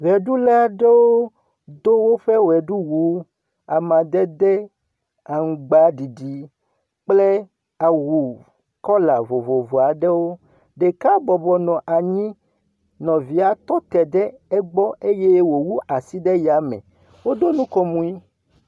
Ʋeɖula aɖewo do woƒe ʋeɖuwuwo amadede aŋgbadidi kple awu kɔla voivov aeɖwo, ɖeka bɔbɔnɔ anyi, nɔvia tɔte ɖe egbɔ eye wòwu asi ɖe yame.